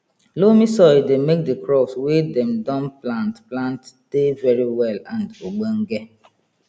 loamy soil dey make the crops wey dem don plant plant dey very well and ogdonge